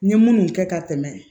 N ye munnu kɛ ka tɛmɛ